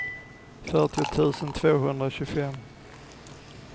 fyrtio tusen tvåhundratjugofem